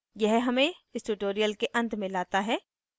यह हमें इस tutorial के अंत में लाता है